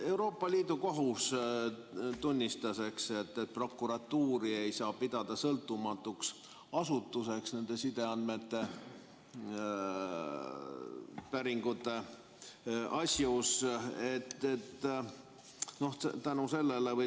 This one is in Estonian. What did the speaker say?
Euroopa Liidu Kohus tunnistas, et prokuratuuri ei saa pidada sõltumatuks asutuseks sideandmete päringute asjus.